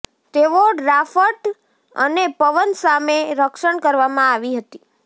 તેઓ ડ્રાફટ અને પવન સામે રક્ષણ કરવામાં આવી હતી